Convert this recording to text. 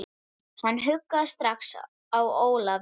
Hann hugaði strax að Ólafi.